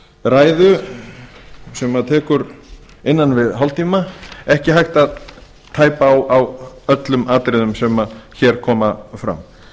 ræðu sem tekur innan við hálftíma ekki hægt að tæpa á öllum atriðum sem hér koma fram